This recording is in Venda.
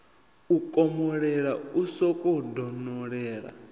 u komolela u sokou donolela